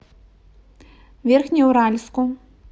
верхнеуральску